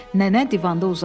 Nənə divanda uzandı.